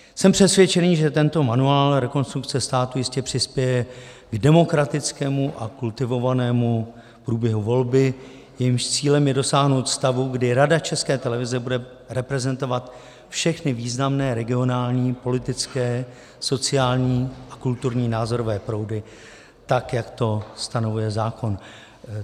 Jsem přesvědčený, že tento manuál Rekonstrukce státu jistě přispěje k demokratickému a kultivovanému průběhu volby, jejímž cílem je dosáhnout stavu, kdy Rada České televize bude reprezentovat všechny významné regionální, politické, sociální a kulturní názorové proudy, tak jak to stanovuje zákon.